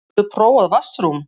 Hefurðu prófað vatnsrúm?